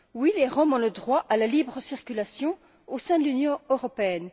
Oui, les Roms ont le droit à la libre circulation au sein de l'Union européenne.